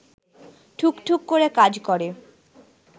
ঠুকঠুক করে কাজ করে